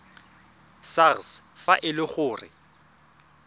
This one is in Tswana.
sars fa e le gore